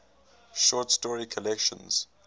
short story collections